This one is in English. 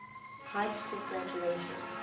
high school graduation